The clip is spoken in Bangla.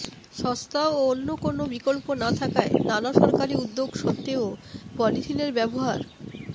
সস্তা ও অন্য কোনও বিকল্প না থাকায় নানা সরকারি উদ্যোগ সত্ত্বেও পলিথিনের ব্যবহার